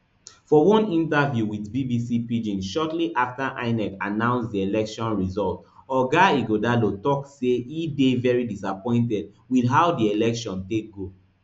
for oneinterviewwit bbc pidgin shortly afta inec announce di election result oga ighodalo tok say e dey very disappointed wit how di election take go